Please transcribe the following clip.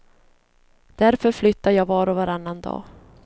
Därför flyttar jag var och varannan dag.